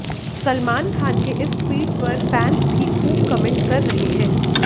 सलमान खान के इस ट्वीट पर फैन्स भी खूब कमेंट कर रहे हैं